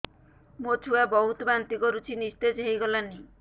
ମୋ ଛୁଆ ବହୁତ୍ ବାନ୍ତି କରୁଛି ନିସ୍ତେଜ ହେଇ ଗଲାନି